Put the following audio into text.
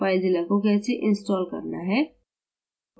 filezilla को कैसे install करना है